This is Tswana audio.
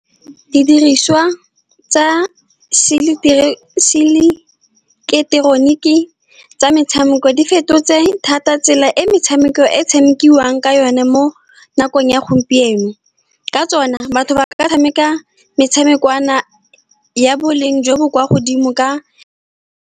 Didiriswa tsa seileketeroniki tsa metshameko di fetotse thata tsela e metshameko e tshamekiwang ka yone mo nakong ya gompieno. Ka tsona, batho ba ka tshameka metshameko ya ya boleng jo bo kwa godimo.